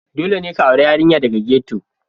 Dole ne ka auri yarinya daga ghetto,